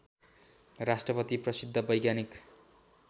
राष्ट्रपति प्रसिद्ध वैज्ञानिक